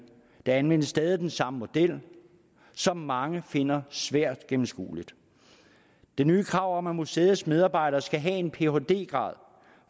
der anvendes stadig den samme model som mange finder svært gennemskuelig det nye krav om at museets medarbejdere skal have en phd grad